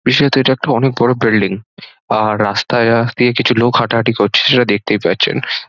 বিশেষত এটা একটা অনেক বড় বিল্ডিং আর রাস্তার পাশ দিয়ে দিয়ে কিছু লোক হাঁটাহাঁটি করছে সেটা দেখতে পাচ্ছেন।